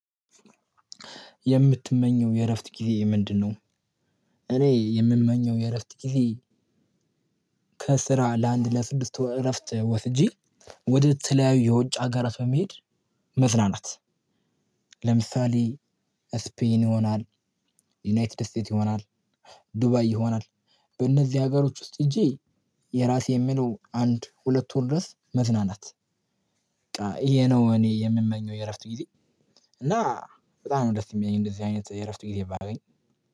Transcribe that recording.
የምትመኘው የእረፍት ጊዜ ምንድነው? እኔ የምመኘው የእረፍት ጊዜ ከስራ ለአንድ ለስድስት ወር እረፍት ወስጂ ወደ ተለያዩ የውጭ አጋራት በመሄድ መዝናናት። ለምሳሌ ስፔን ይሆናል። ዩናይትድ ስቴት ይሆናል። ዱባይ ይሆናል። በእነዚህ ሀገሮች ውስጥ ሄጄ የራሴ የሚለው አንድ ሁለት ወር ድረስ መዝናናት። ይሄ ነው እኔ የምመኘው የእረፍት ጊዜ እና በጣም ነው ደስ የሚለኝ እንደዚህ አይነት የእረፍት ጊዜ ባገኝ።